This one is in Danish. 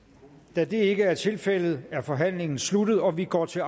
da det ikke er tilfældet er forhandlingen sluttet og vi går til